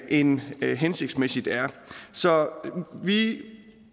end det er hensigtsmæssigt så vi